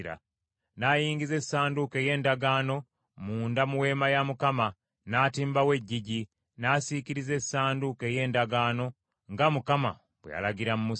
n’ayingiza Essanduuko ey’Endagaano munda mu Weema ya Mukama , n’atimbawo eggigi, n’asiikiriza Essanduuko ey’Endagaano, nga Mukama bwe yalagira Musa.